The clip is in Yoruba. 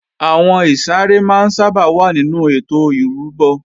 Àwọn ìsàrẹ́ máa ń sábà wà nínú ètò ìrúbọ